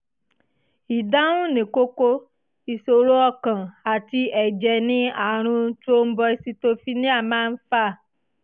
ìdáhùn ní kókó: ìṣòro ọkàn àti ẹ̀jẹ̀ ni àrùn thrombocytopenia máa ń fà